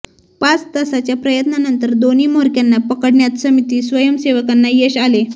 पाच तासाच्या प्रयत्नानंतर दोन्ही म्होरक्यांना पकडण्यात समिती स्वयंसेवकांना यश आले